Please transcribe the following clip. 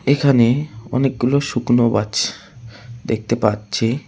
এখানে অনেকগুলো শুকনো বাছ দেখতে পাচ্ছি।